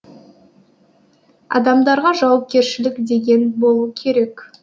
адамдарға жауапкершілік деген болу керек